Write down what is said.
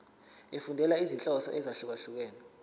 efundela izinhloso ezahlukehlukene